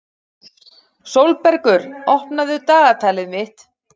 Sólbergur, opnaðu dagatalið mitt.